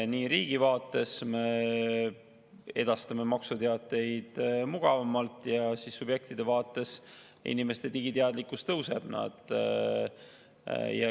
Riigi vaates me edastame maksuteateid mugavamalt ja subjektide vaates inimeste digiteadlikkus tõuseb.